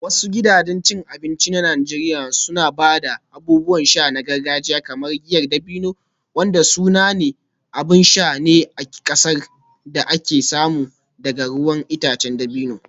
Wasu gidajen cin abinci na Najeriya suna ba da abubuwan sha na gargajiya kamar giyar dabino, wanda sanannen abin sha ne a cikin ƙasar da aka samu daga ruwan itacen dabino.